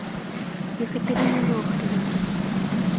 екатерина нохрина